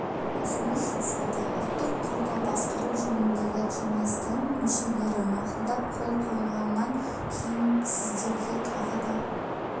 ұсыныс жасалды ұлттық қорды басқару жөніндегі кеңестің мүшелері мақұлдап қол қойғаннан кейін сіздерге тағы да